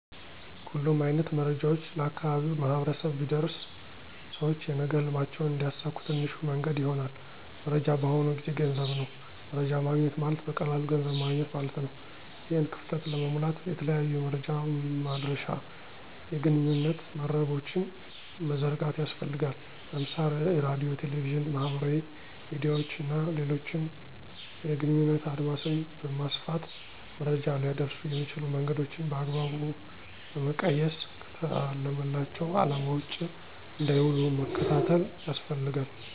ሁሉም አይነት መረጃዎች ለአካባቢው ማህበረሰብ ቢደርስ ሰውች የነገ ህልማቸውን እንዲያሳኩ ትንሹ መንገድ ይሆናል። መረጃ በአሁኑ ጊዜ ገንዘብ ነው። መረጃ ማግኘት ማለት በቀላሉ ገንዘብ ማገኘት ማለት ነው። ይህን ክፍተት ለመሙላት የተለያዩ የመረጃ ማድረሻ የግንኙነት መረቦችን መዘርጋት ያስፈልጋል። ለምሳሌ ራድዮ፣ ቴሌቪዥን፣ ማህበራዊ ሚድያዎች እና ሌሎችን የግንኙነት አድማስን በማስፋት መረጃ ሊያደርሱ የሚችሉ መንገዶችን በአግባቡ በመቀየስ ከታለመላቸው አለማ ውጭ እንዳይዉሉ መከታተል ያስፈልጋል።